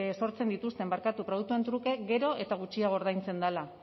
sortzen dituzten produktuen truke gero eta gutxiago ordaintzen dela